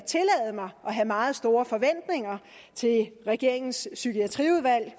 have meget store forventninger til regeringens psykiatriudvalg